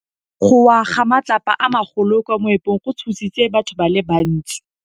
Go wa ga matlapa a magolo ko moepong go tshositse batho ba le bantsi.